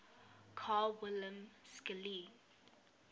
carl wilhelm scheele